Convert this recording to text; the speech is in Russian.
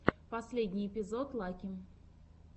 последний эпизод лаки